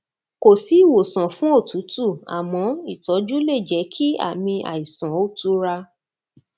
kò sí ìwòsàn fún òtútù àmọ ìtọjú lè jẹ kí àmì àìsàn ó tura